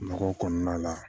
Mɔgɔw kɔnɔna la